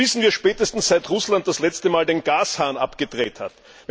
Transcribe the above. Das wissen wir spätestens, seit Russland das letzte Mal den Gashahn abgedreht hat.